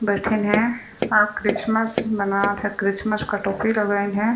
बैठइन है आउ क्रिसमस मनात हे क्रिसमस का टोपी लगाईन हे।